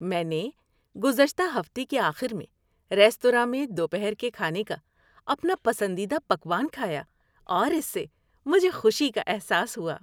میں نے گزشتہ ہفتے کے آخر میں ریستوراں میں دوپہر کے کھانے کا اپنا پسندیدہ پکوان کھایا، اور اس سے مجھے خوشی کا احساس ہوا۔